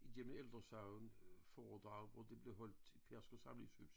Gennem ældresagen øh foredrag hvor det blev holdt i Pedersker samlingshus